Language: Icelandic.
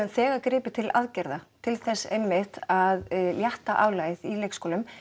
þegar gripið til aðgerða til þess einmitt að létta álagið í leikskólum